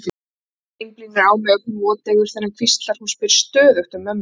Garðar einblínir á mig, ögn voteygur þegar hann hvíslar: Hún spyr stöðugt um mömmu sína.